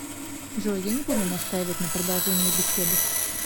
джой я не будут настаивать на продолжении беседы